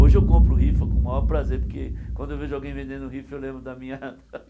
Hoje eu compro rifa com o maior prazer, porque quando eu vejo alguém vendendo rifa, eu lembro da minha